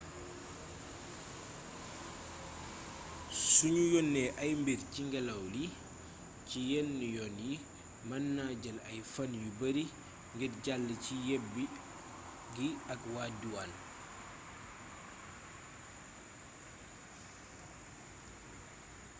sunu yónnee ay mbir ci ngélaw li ci yenn yoon yi mën na jël ay fan yu bari ngir jàll ci yebbi gi ak waa duwaan